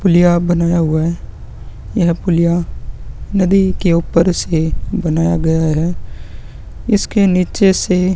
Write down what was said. पुलिया बनाया हुआ है यह पुलिया नदी के ऊपर से बनाया गया है इसके निचे से --